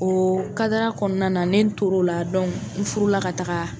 O kadara kɔnɔna na, ne to l'o la dɔnku n furu la ka taga